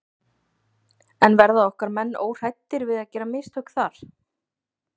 En verða okkar menn óhræddir við að gera mistök þar?